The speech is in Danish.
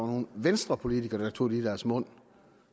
nogle venstrepolitikere der tog det i deres mund